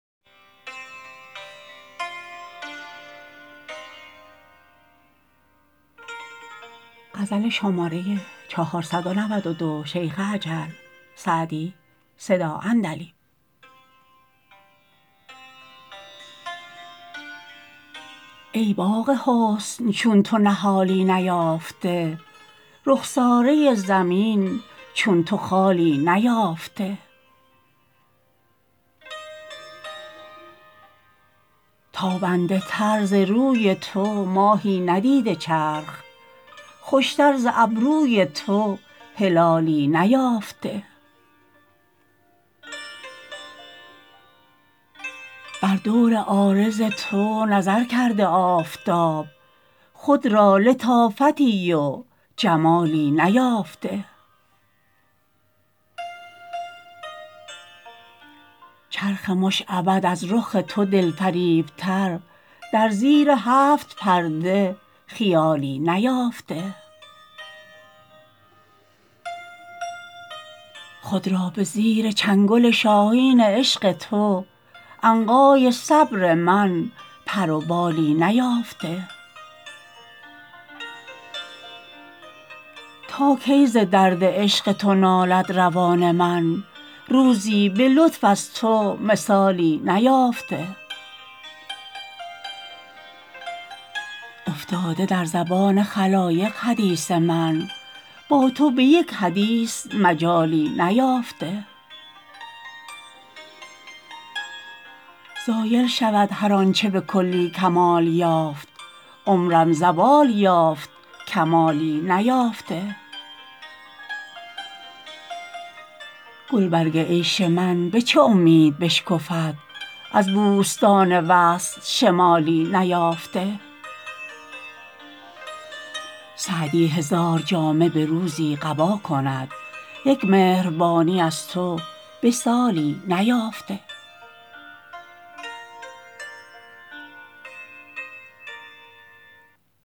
ای باغ حسن چون تو نهالی نیافته رخساره زمین چو تو خالی نیافته تابنده تر ز روی تو ماهی ندیده چرخ خوشتر ز ابروی تو هلالی نیافته بر دور عارض تو نظر کرده آفتاب خود را لطافتی و جمالی نیافته چرخ مشعبد از رخ تو دلفریبتر در زیر هفت پرده خیالی نیافته خود را به زیر چنگل شاهین عشق تو عنقای صبر من پر و بالی نیافته تا کی ز درد عشق تو نالد روان من روزی به لطف از تو مثالی نیافته افتاده در زبان خلایق حدیث من با تو به یک حدیث مجالی نیافته زایل شود هر آن چه به کلی کمال یافت عمرم زوال یافت کمالی نیافته گلبرگ عیش من به چه امید بشکفد از بوستان وصل شمالی نیافته سعدی هزار جامه به روزی قبا کند یک مهربانی از تو به سالی نیافته